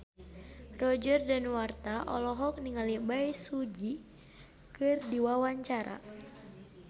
Roger Danuarta olohok ningali Bae Su Ji keur diwawancara